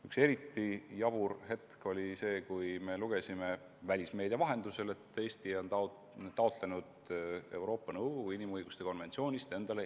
Üks eriti jabur hetk oli see, kui lugesime välismeedia vahendusel, et Eesti on taotlenud Euroopa Nõukogu inimõiguste konventsioonist erandit.